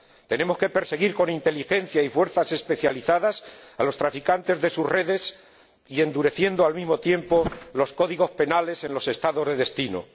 Tenemos que perseguir con inteligencia y fuerzas especializadas a los traficantes de sus redes y endurecer, al mismo tiempo, los códigos penales en los Estados de destino.